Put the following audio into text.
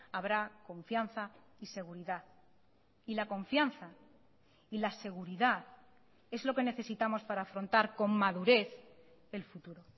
habrá confianza y seguridad y la confianza y la seguridad es lo que necesitamos para afrontar con madurez el futuro